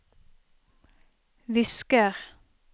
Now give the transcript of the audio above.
visker